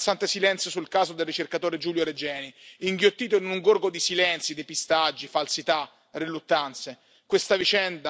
È emblematico l'imbarazzante silenzio sul caso del ricercatore Giulio Regeni, inghiottito in un gorgo di silenzi, depistaggi, falsità, riluttanze.